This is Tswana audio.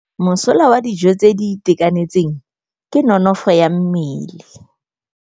Mosola wa dijô tse di itekanetseng ke nonôfô ya mmele.